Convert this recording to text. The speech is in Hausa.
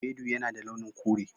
Ewedu yana da launin kure.